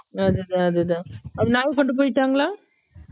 அது தான் அது தான் அந்த நாய் கொண்டு போய்டாங்களா